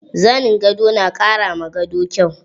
Zanin gado na ƙara ma gado kyau.